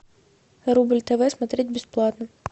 рубль тв смотреть бесплатно